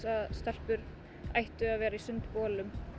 að stelpur ættu að vera í sundbolum